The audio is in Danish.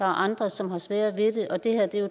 andre som har sværere ved det og det her er jo